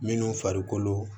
Minnu farikolo